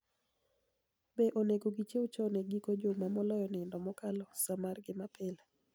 Be oni ego gichiew choni e giko juma moloyo niinido mokalo saa mar gi mapile